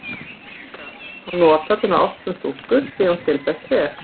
Sýkisgras má nota til að ná ástum stúlku sé hún til þess treg.